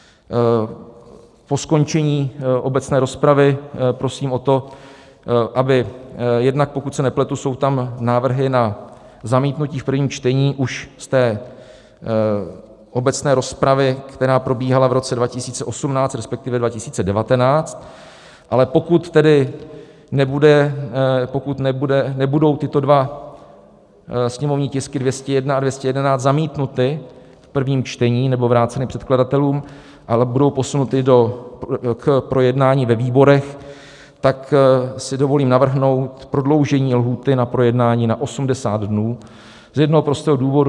Po skončení obecné rozpravy prosím o to, aby - jednak, pokud se nepletu, jsou tam návrhy na zamítnutí v prvním čtení už z té obecné rozpravy, která probíhala v roce 2018, respektive 2019, ale pokud tedy nebudou tyto dva sněmovní tisky 201 a 211 zamítnuty v prvním čtení nebo vráceny předkladatelům, ale budou posunuty k projednání ve výborech, tak si dovolím navrhnout prodloužení lhůty na projednání na 80 dnů z jednoho prostého důvodu.